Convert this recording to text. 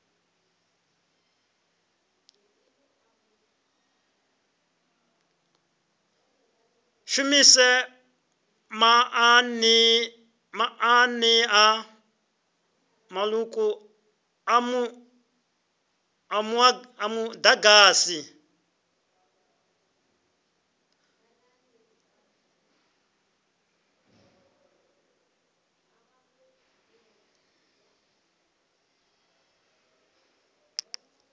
shumisaho maanḓa maṱuku a muḓagasi